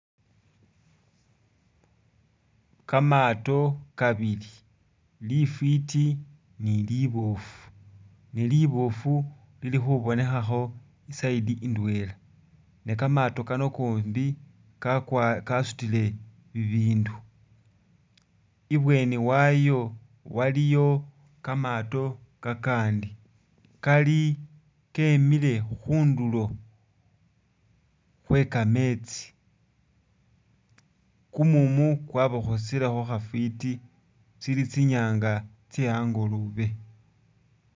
Kamaato kabili lifwiti ni liboofu ne liboofu lili khubonekhakho i'side indwela, ne kamaato kano kombi kakwa kasutile bibindu. I'bweeni wayo waliyo kamaato kakandi kali kemile khundulo khwe kameetsi, kumumu kwabakhosilekho khafwiti tsili tsinyaanga tsye angolobe.